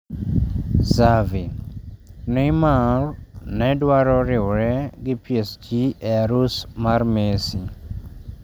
Xavi: Neymar ne dwaro riwre gi PSG e harus mar Messi